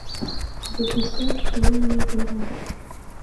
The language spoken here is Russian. запускай поцелуй меня первым